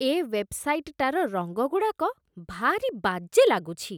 ଏ ୱେବ୍‌ସାଇଟ୍‌ଟାର ରଙ୍ଗଗୁଡ଼ାକ ଭାରି ବାଜେ ଲାଗୁଚି ।